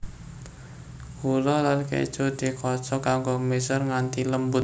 Gula lan keju dikocok nganggo mixer nganti lembut